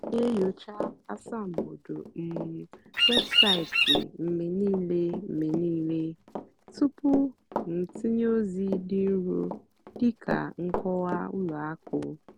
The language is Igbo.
m nà-ènyócha ásàmbódò um wébụ́saịtị́ mgbe níìlé mgbe níìlé túpú m tìnyé ózì dì nró dị́ kà nkọ́wá ùlọ àkụ́.